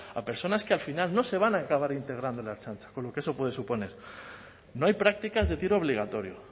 a personas que al final no se van a acabar integrando en la ertzaintza con lo que eso puede suponer no hay prácticas de tiro obligatorio